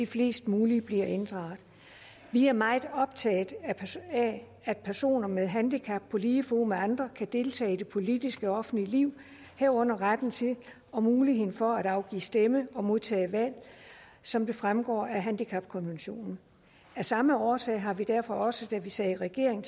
flest mulige bliver inddraget vi er meget optaget af at personer med handicap på lige fod med andre kan deltage i det politiske og offentlige liv herunder retten til og muligheden for at afgive stemme og modtage valg som det fremgår af handicapkonventionen af samme årsag har vi derfor også da vi sad i regering